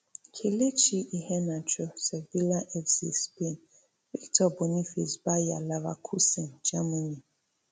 kelechi iheanacho sevilla fc spain victor boniface bayer leverkusen germany